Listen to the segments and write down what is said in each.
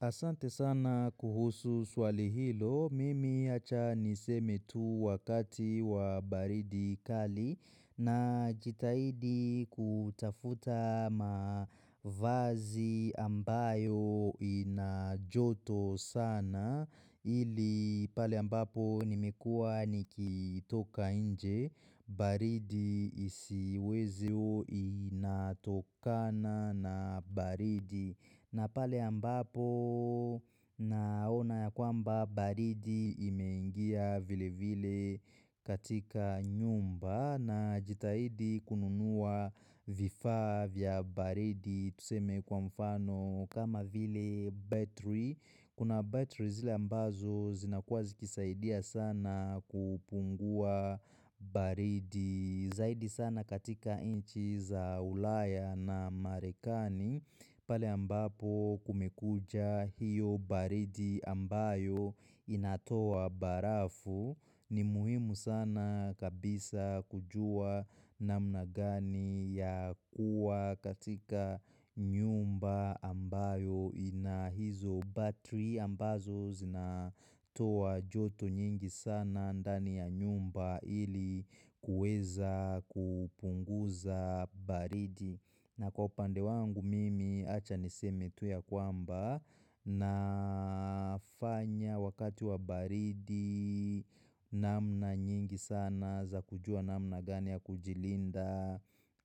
Asante sana kuhusu swali hilo, mimi acha niseme tu wakati wa baridi kali na jitaidi kutafuta mavazi ambayo inajoto sana ili pale ambapo nimekua nikitoka inje, baridi isiweziyo inatokana na baridi. Na pale ambapo naona ya kwamba baridi imeingia vile vile katika nyumba na jitahidi kununua vifa vya baridi tuseme kwa mfano kama vile battery. Kuna battery zile ambazo zinakuwa zikisaidia sana kupungua baridi zaidi sana katika inchi za ulaya na marekani. Pale ambapo kumekucha hiyo baridi ambayo inatoa barafu ni muhimu sana kabisa kujua namna gani ya kuwa katika nyumba ambayo inahizo battery ambazo zinatoa joto nyingi sana andani ya nyumba ili kueza kupunguza baridi na kwa upande wangu mimi achaniseme tu ya kwamba na fanya wakati wa baridi namna nyingi sana za kujua namna gani ya kujilinda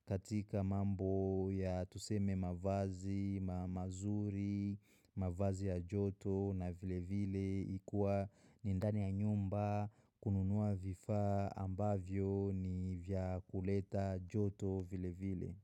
katika mambo ya tuseme mavazi, ma mazuri, mavazi ya joto na vile vile ikua ni ndani ya nyumba kununuwa vifaa ambavyo ni vya kuleta joto vile vile.